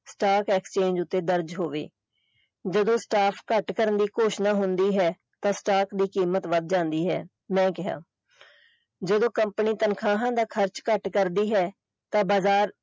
Stock Exchange ਉੱਤੇ ਦਰਜ ਹੋਵੇ ਜਦੋਂ staff ਘੱਟ ਕਰਨ ਦੀ ਘੋਸ਼ਣਾ ਹੁੰਦੀ ਹੈ ਤਾਂ staff ਦੀ ਕੀਮਤ ਵੱਧ ਜਾਂਦੀ ਹੈ ਮੈਂ ਕਿਹਾ ਜਦੋਂ company ਤਨਖਾਹਾਂ ਦਾ ਖਰਚ ਘੱਟ ਕਰਦੀ ਹੈ ਤਾਂ ਬਜ਼ਾਰ।